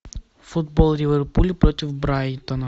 футбол ливерпуль против брайтона